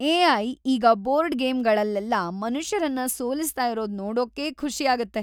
AI. ಈಗ board ಗೇಮ್‌ಗಳಲ್ಲೆಲ್ಲ ಮನುಷ್ಯರನ್ನ ಸೋಲಿಸ್ತಾ ಇರೋದ್ ನೋಡೋಕ್ಕೆ ಖುಷಿ ಆಗತ್ತೆ.